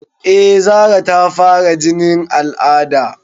Eh Zara ta fara jinin al'ada